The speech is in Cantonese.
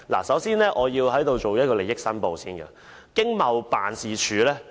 首先，我要申報利益：我曾受惠於經濟貿易辦事處。